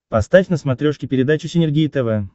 поставь на смотрешке передачу синергия тв